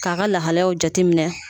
K'a ka lahaliyaw jate minɛ.